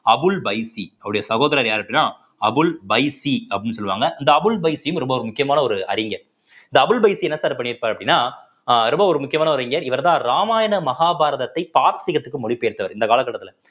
அபுல் பைசி அவருடைய சகோதரர் யாரு அப்படின்னா அபுல் பைசி அப்படின்னு சொல்லுவாங்க இந்த அபுல் பைசிம் ரொம்ப ஒரு முக்கியமான ஒரு அறிஞர் இந்த அபுல் பைசி என்ன sir பண்ணியிருப்பார் அப்படின்னா அஹ் ரொம்ப ஒரு முக்கியமான ஒரு அறிஞர் இவர்தான் ராமாயண மகாபாரதத்தை மொழி பெயர்த்தவர் இந்த காலகட்டத்தில